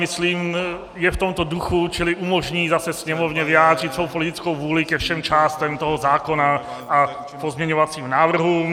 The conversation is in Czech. Myslím, je v tomto duchu, čili umožní zase Sněmovně vyjádřit svou politickou vůli ke všem částem toho zákona a pozměňovacím návrhům.